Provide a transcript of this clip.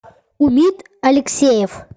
умит алексеев